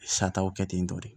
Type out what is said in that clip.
Sataw kɛ ten tɔ de